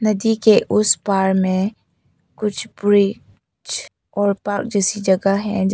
नदी के उस पर में कुछ ब्रि ज और पार्क जैसी जगह है जैसे--